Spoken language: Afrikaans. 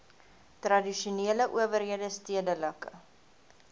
tradisionele owerhede stedelike